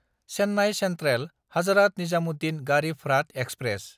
Chennai सेन्ट्रेल–हाजरात Nizamuddin Garib Rath express